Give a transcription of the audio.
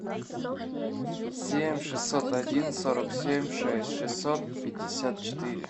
семь шестьсот один сорок семь шесть шестьсот пятьдесят четыре